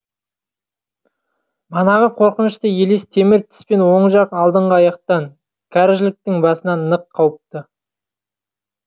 манағы қорқынышты елес темір тіспен оң жақ алдыңғы аяқтан кәріжіліктің басынан нық қауыпты